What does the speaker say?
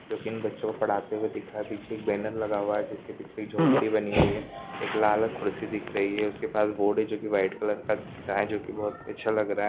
दो तीन बच्चों पढ़ाते हुए दिखा पीछे बैनर लगा हुआ है जिसके पीछे की झोपड़ी बनी हुई है एक लाल कुर्सी दिख रही है उसके पास बोर्ड है जो की वाइट कलर का है जो की बहुत अच्छा लग रहा है।